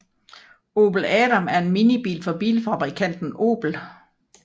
Opel Adam er en minibil fra bilfabrikanten Opel